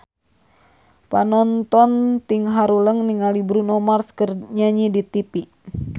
Panonton ting haruleng ningali Bruno Mars keur nyanyi di tipi